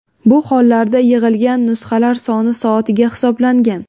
Bu holarda yig‘ilgan nusxalar soni soatiga hisoblangan.